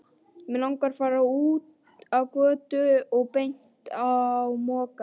Mig langaði út á götu og beint á Mokka.